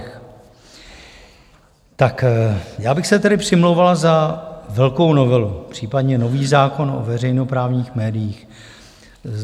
Tak já bych se tedy přimlouval za velkou novelu, případně nový zákon o veřejnoprávních médiích.